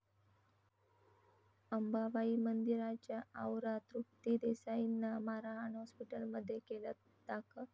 अंबाबाई मंदिराच्या आवरात तृप्ती देसाईंना मारहाण, हाॅस्पिटलमध्ये केलं दाखल